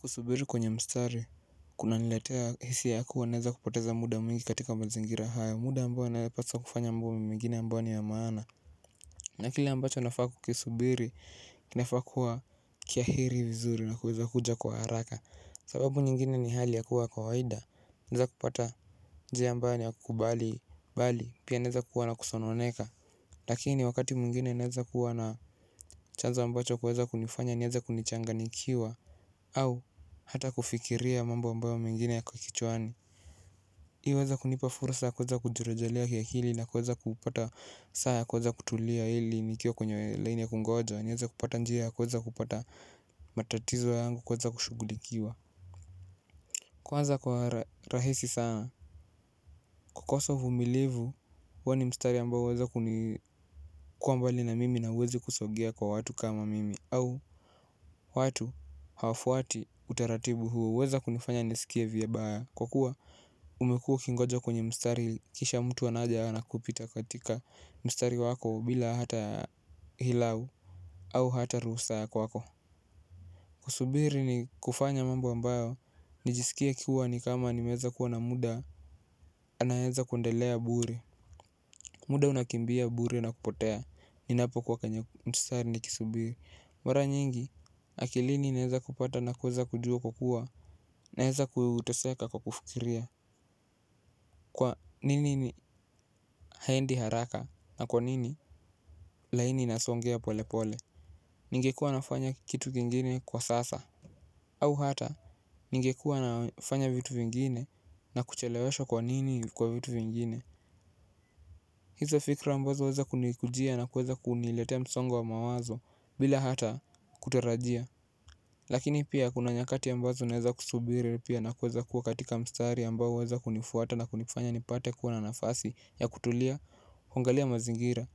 Kusubiri kwenye mstari, kuna niletea hisia ya kuwa naeza kupoteza muda mwingi katika mazingira hayo, muda ambayo naeza paswa kufanya mingine ambayo ni ya maana. Na kile ambacho nafaa kukisubiri, nafaa kuwa kia heri nzuri na kuweza kuja kwa haraka. Sababu nyingine ni hali ya kuwa kawaida, naeza kupata njia ambayo inakubali, bali, pia naeza kuwa na kusononeka. Lakini wakati mwingine naweza kuwa na chanzo ambacho kuweza kunifanya, naeza kunichanganyikiwa. Au hata kufikiria mambo ambayo mengine yako kichwani hii huweza kunipa fursa kwanza kujirejelea kiakili nakuweza kupata saa ya kuweza kutulia hili nikiwa kwenye laini ya kungoja naweza kupata njia ya kuweza kupata matatizo yangu kuweza kushugulikiwa kwanza kwa rahisi sana kukosa uvumilivu huo ni mstari ambao weza kunikuwa mbali na mimi na huwezi kusogea kwa watu kama mimi au watu hawafuati utaratibu huo huweza kunifanya nisikie vibaya kwa kuwa umekuwa ukingoja kwenye mstari kisha mtu anaja ana kupita katika mstari wako bila hata hilau au hata ruhusa ya kwako kusubiri ni kufanya mambo ambayo nijisikie kuwa ni kama nimeweza kuwa na muda anaweza kuendelea bure muda unakimbia bure na kupotea ninapokuwa kwenye mstari nikisubiri mara nyingi akilini naweza kupata nakuweza kujua kwa kuwa naweza kuteseka kwa kufikiria kwa nini haendi haraka na kwa nini laini inasongea pole pole ningekuwa nafanya kitu kingine kwa sasa au hata ningekuwa nafanya vitu vingine na kucheleweshwo kwa nini kwa vitu vingine hizo fikra ambazo huweza kunikujia na kuweza kuniletea msongo wa mawazo bila hata kutarajia lakini pia kuna nyakati ambazo naweza kusubiri pia na kuweza kuwa katika mstari ambao huweza kunifuata na kunifanya nipate kuwa na nafasi ya kutulia kuangalia mazingira,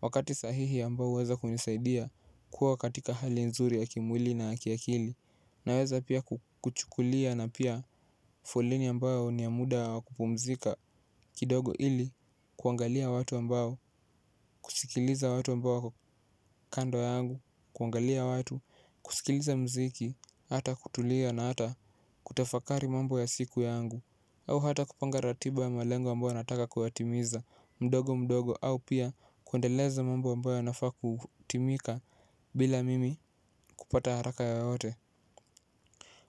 wakati sahihi ambao huweza kunisaidia kuwa katika hali nzuri ya kimwili na ya kiakili naweza pia kuchukulia na pia foleni ambao ni ya muda wa kupumzika kidogo ili kuangalia watu ambao, kusikiliza watu ambao kando yangu kuangalia watu, kusikiliza mziki, hata kutulia na hata kutafakari mambo ya siku yangu au hata kupanga ratiba ya malengo ambayo nataka kuyatimiza mdogo mdogo au pia kuendeleza mambo ambayo nafaa kutimika bila mimi kupata haraka yaote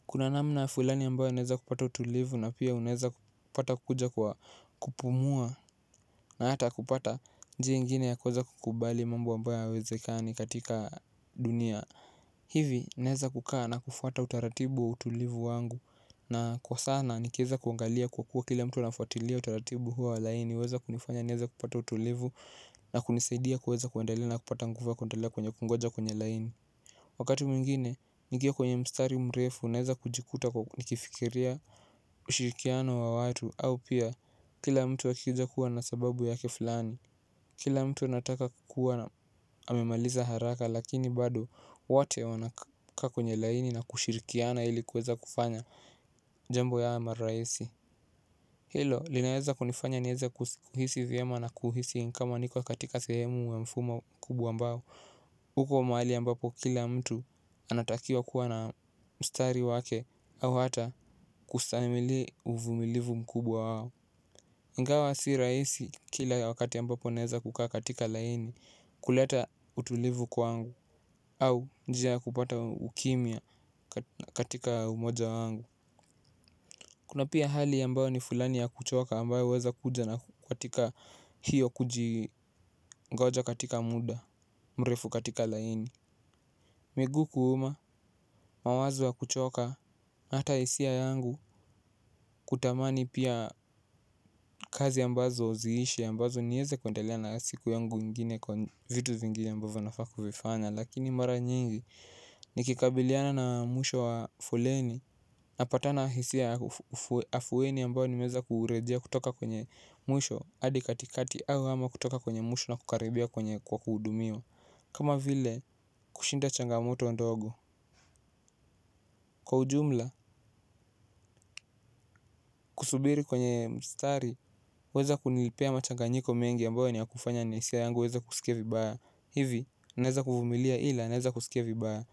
kuna namna fulani ambayo naweza kupata utulivu na pia unaweza kupata kukuja kwa kupumua na hata kupata njia nyingine ya kuweza kukubali mambo ambayo hayawezekani katika dunia. Hivi naweza kaa na kufuata utaratibu wa utulivu wangu na kwa sana nikiweza kuangalia kwa kuwa kila mtu anafuatilia huo wa laini huweza kunifanya kupata utulivu na kunisaidia kuweza kuendelea na kupata nguvu ya kuendelea kuongojea kwenye laini wakati mwingine nikiwa kwenye mstari mrefu naweza kujikuta kwa nikifikiria ushirikiano wa watu au pia kila mtu wakija kuwa na sababu yake fulani kila mtu anataka kukuwa na amemaliza haraka lakini bado wote wanakaa kwenye laini na kushirikiana ilikuweza kufanya jambo yawe marahisi hilo linaweza kunifanya niweze kuhisi vyema na kuhisi kama niko katika sehemu wa mfumo kubwa ambao huko mahali ambapo kila mtu anatakiwa kuwa na mstari wake au hata kustahili uvumilivu mkubwa wao ingawa si rahisi kila wakati ambapo naweza kukaa katika laini kuleta utulivu kwangu au njia ya kupata ukimya katika umoja wangu kuna pia hali ambayo ni fulani ya kuchoka ambayo huweza kuja katika hio ngoja katika muda mrefu katika laini miguu kuuma mawazo ya kuchoka hata hisia yangu kutamani kazi ambazo haziishi ambazo niweze kuendelea na siku yangu nyingine kwa vitu vingine ambavyo nafaa kuvifanya lakini mara nyingi nikikubaliana na mwisho wa foleni. Napatana hisia afueni ambayo nimeweza kurejea kutoka kwenye mwisho adi katikati au ama kutoka kwenye mwisho na kukaribia kwenye kwa kuhudumiwa kama vile kushinda changamoto ndogo kwa ujumla kusubiri kwenye mstari huweza kunipea machanganyiko mengi ambayo ni yakufanya ni hisia yangu weza kusikia vibaya hivi, naeza kuvumilia ila, naweza kusikia vibaya.